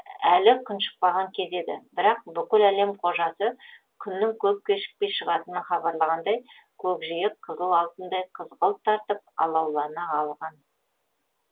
әлі күн шықпаған кез еді бірақ бүкіл әлем қожасы күннің көп кешікпей шығатынын хабарлағандай көкжиек қызыл алтындай қызғылт тартып алаулана алған